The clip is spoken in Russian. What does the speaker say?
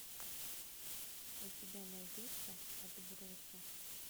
у тебя найдется отбросы